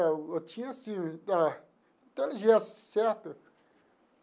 Eu tinha, assim, ah inteligência, certo?